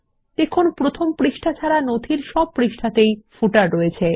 দেখুন প্রথম পাতা ছাড়া নথির সব পৃষ্ঠাতেই পাদলেখ রয়েছে